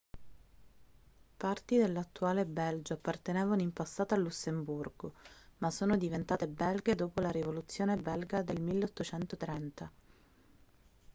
parti dell'attuale belgio appartenevano in passato al lussemburgo ma sono diventate belghe dopo la rivoluzione belga del 1830